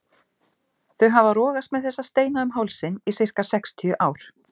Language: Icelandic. Þau hafa rogast með þessa steina um hálsinn í sirka sextíu ár.